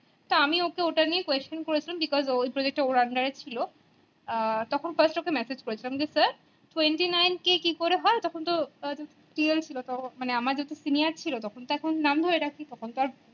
তা আমি ওকে ওটা নিয়ে question করেছিলাম because ওর project টা ওর under এ ছিল আহ তখণ first ওকে massage করেছিলাম যে sir twenty nine k কি করে হয় তখন তো senior ছিল মানে আমার যেহেতু senior ছিল তখন এখন তো নাম ধরে ডাকি তখন তো আর